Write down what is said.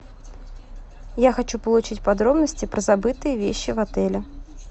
я хочу получить подробности про забытые вещи в отеле